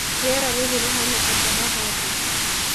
Rĩera rĩrĩ rihana atia haha ndĩĩ.